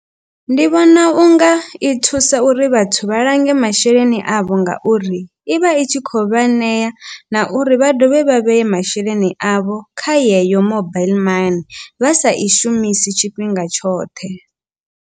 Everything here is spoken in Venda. Ndi vhona unga i thusa uri vhathu vha lange masheleni avho. Ngauri i vha i tshi kho vha ṋea na uri vha dovhe vha vheye masheleni avho kha yeyo mobile mani vha sa i shumisi tshifhinga tshoṱhe.